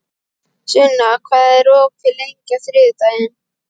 Sunna, hvað er opið lengi á þriðjudaginn?